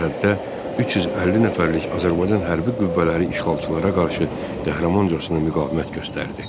Sərhəddə 350 nəfərlik Azərbaycan hərbi qüvvələri işğalçılara qarşı qəhrəmancasına müqavimət göstərdi.